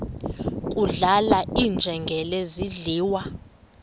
kudlala iinjengele zidliwa